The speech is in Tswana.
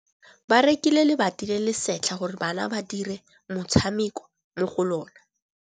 Ba rekile lebati le le setlha gore bana ba dire motshameko mo go lona.